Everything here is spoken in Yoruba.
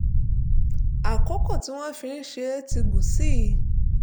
àkókò tí wọ́n fi ṣe é ti gùn sí i